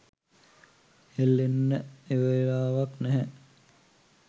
හෙල්ලෙන්න එවලාවක් නැහැ.